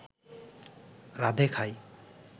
রাঁধে খায়